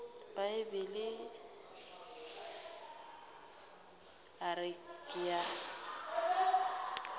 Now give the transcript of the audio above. bibele a re ke a